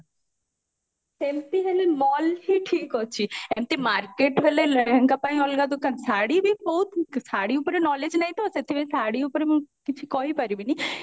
ସେମତି ହେଲେ mall ହିଁ ଠିକ ଅଛି ସେମତି market ହେଲେ ଲେହେଙ୍ଗା ପାଇଁ ଅଲଗା ଦୋକାନ ଶାଢୀ ବି ବହୁତ ଶାଢୀ ଉପରେ knowledge ନାହିଁ ତ ସେଥିପାଇଁ ଶାଢୀ ଉପରେ ମୁଁ କିଛି କହି ପାରିବିନି